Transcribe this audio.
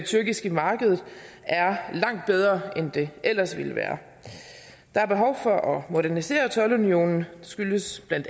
tyrkiske marked er langt bedre end den ellers ville være der er behov for at modernisere toldunionen det skyldes bla